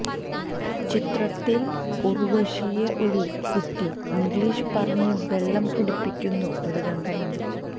ചിത്രത്തിൽ ഉർവശിയെ ഒരു കുട്ടി ഇംഗ്ലീഷ് പറഞ്ഞ് വെള്ളം കുടിപ്പിക്കുന്ന ഒരു രംഗമുണ്ട്